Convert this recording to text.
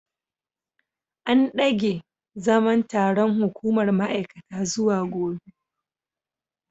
An dage zaman taron hukumar ma’aikata zuwa gobe.